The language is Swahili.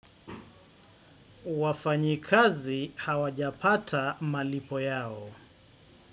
Wafanyikazi hawajapata malipo yao.